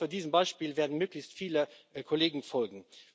Ich hoffe, diesem Beispiel werden möglichst viele Kollegen folgen.